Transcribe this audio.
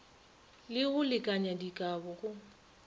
le go lekanya dikabo go